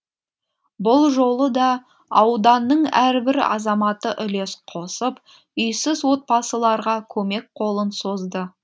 бұл жолы да ауданның әрбір азаматы үлес қосып үйсіз отбасыларға көмек қолын созды